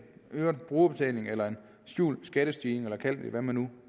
øget brugerbetaling eller en skjult skattestigning eller hvad man nu